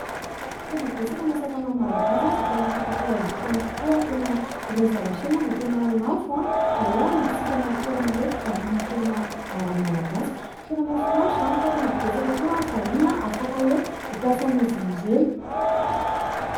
Tena betsaka ny asa tànana malagasy izay tena afaka atao haingotrano tokoa ary tena ireny zavatra ireny izay tena lafo raha hoe hamidintsika amin'ny toerana fivarotana toerana ara-malagasy. Tena mahafinaritra izany fa tena betsaka koa ny vahiny afaka hoe mampiasa an'izy ireny.